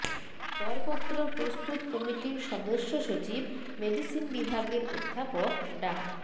দরপত্র প্রস্তুত কমিটির সদস্য সচিব মেডিসিন বিভাগের অধ্যাপক ডা